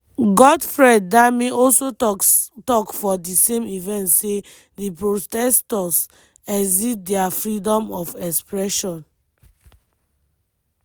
godfred dame also tok for di same event say di protestors “exceed dia freedom of expression.”